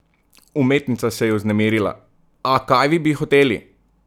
Umetnica se je vznemirila: "A kaj bi vi hoteli?